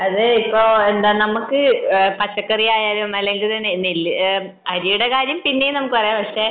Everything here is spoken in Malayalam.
അതെ ഇപ്പൊ നമ്മക്ക് പച്ചക്കറി ആയാലും അല്ലെങ്കിൽ നെല്ല് അരിയുടെ കാര്യം പിന്നേം നമ്മുക്ക് പറയാം